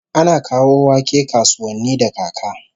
Ana kawo wake kasuwanni da kaka